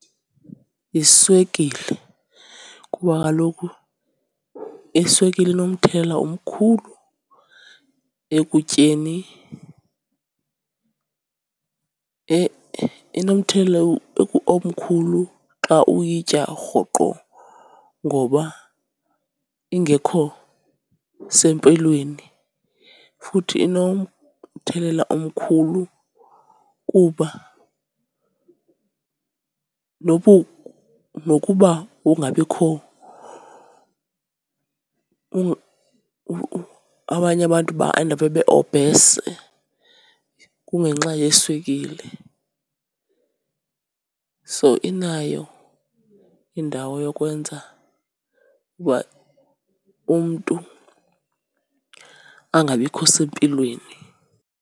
Yiswekile, kuba kaloku iswekile inomthelela omkhulu ekutyeni. Inomthelela omkhulu xa uyitya rhoqo ngoba ingekho sempilweni. Futhi inomthelela mkhulu kuba nokuba ukungabikho, abanye abantu baendaphe be-obese kungenxa yeswekile. So, inayo indawo yokwenza uba umntu angabikho sempilweni.